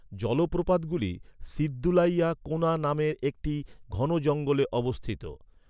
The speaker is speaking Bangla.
জলপ্রপাতগুলি, সিদ্ধুলাইয়া কোনা নামের একটি ঘন জঙ্গলে অবস্থিত।